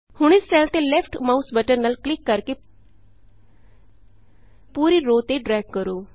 ਹੁਣ ਇਸ ਸੈੱਲ ਤੇ ਲੈਫਟ ਮਾਉਸ ਬਟਨ ਨਾਲ ਕਲਿਕ ਕਰਕੇ ਪੂਰੀ ਰੋਅ ਤੇ ਡਰੈਗ ਕਰੋ